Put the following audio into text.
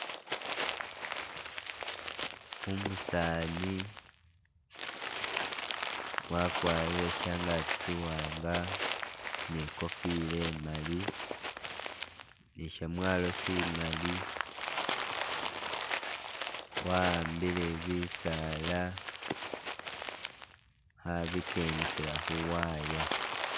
Umusani wakwarire shangaki shiwanga nikofila imali nishamwalo shimali wa ambile bisala khabikendesela khuwaya